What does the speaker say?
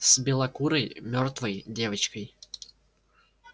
с белокурой мёртвой девочкой